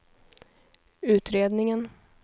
utredningen